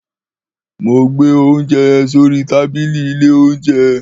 Mò gbé ounjé yen sòrí tábílí ìlé ounjé